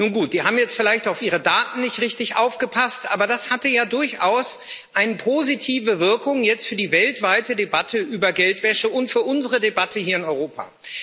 Nun gut sie haben jetzt vielleicht auf ihre Daten nicht richtig aufgepasst, aber das hatte ja jetzt durchaus eine positive Wirkung für die weltweite Debatte über Geldwäsche und für unsere Debatte hier in Europa.